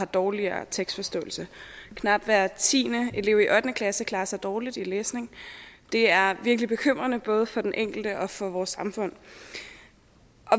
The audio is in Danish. dårligere tekstforståelse knap hver tiende elev i ottende klasse klarer sig dårligt i læsning det er virkelig bekymrende både for den enkelte og for vores samfund